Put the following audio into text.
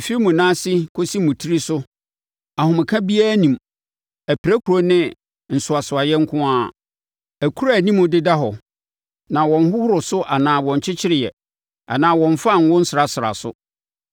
Ɛfiri mo nan ase kɔsi mo tiri so ahomeka biara nni mu, apirakuro ne nsoasoaeɛ nko ara akuro a anim deda hɔ na wɔnhohoro so anaa Wɔnkyekyereeɛ anaa wɔmfaa ngo nsrasraa so.